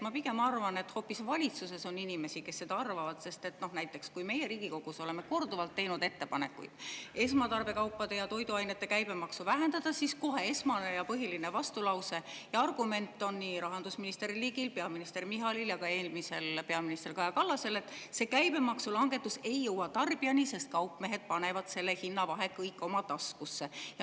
Ma pigem arvan, et hoopis valitsuses on inimesi, kes seda arvavad, sest näiteks kui meie Riigikogus oleme korduvalt teinud ettepanekuid esmatarbekaupade ja toiduainete käibemaksu vähendada, siis kohe esmane ja põhiline vastulause ja argument on nii rahandusminister Ligil, peaminister Michalil ja ka eelmisel peaministril Kaja Kallasel, et see käibemaksulangetus ei jõua tarbijani, sest kaupmehed panevad selle hinna vahe kõik oma taskusse.